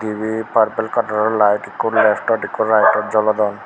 ibe parpol kalaror layet ikko leftot ikko raetoto jolodon.